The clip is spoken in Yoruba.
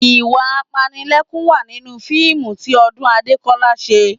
Ìwà apanilẹ́kún wà nínú fíìmù tí Ọdún Adékọ́lá ṣe